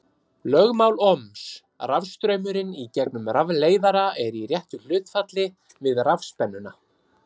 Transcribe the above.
Lögmál Ohms: Rafstraumurinn í gegnum rafleiðara er í réttu hlutfalli við rafspennuna.